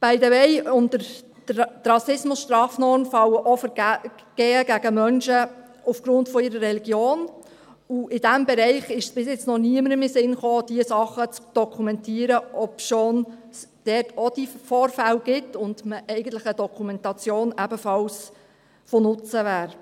By the way: Unter die Rassismusstrafnorm fallen auch Vergehen gegen Menschen aufgrund ihrer Religion, und in diesem Bereich kam es bisher noch niemandem in den Sinn, diese Dinge zu dokumentieren, obschon es diese Vorfälle dort auch gibt und eine Dokumentation eigentlich ebenfalls von Nutzen wäre.